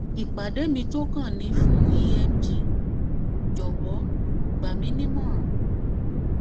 ìpàdé mi tó kàn ni fún emg jọwọ gbà yín nímọràn